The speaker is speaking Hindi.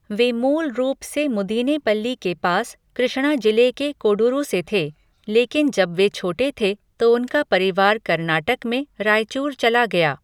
वे मूल रूप से मुदीनेपल्ली के पास कृष्णा जिले के कोडुरु से थे, लेकिन जब वे छोटे थे तो उनका परिवार कर्नाटक में रायचूर चला गया।